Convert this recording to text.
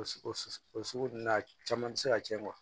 O sugu su su o sugu n'a caman tɛ se ka cɛn